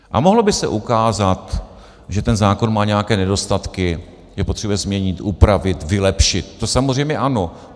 A mohlo by se ukázat, že ten zákon má nějaké nedostatky, že potřebuje změnit, upravit, vylepšit, to samozřejmě ano.